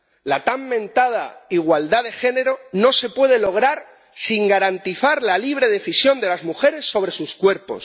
La tan mentada igualdad de género no se puede lograr sin garantizar la libre decisión de las mujeres sobre sus cuerpos.